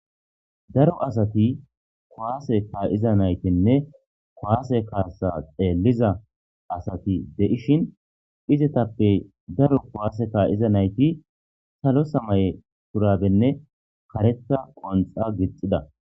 Daro asati kowaase kaa7iza naytinne koaase kaasa xeelliza asati de7ishin izetappe daro kowaase ka7iza nayti salo samay purabenne kareta qonxa gixxida.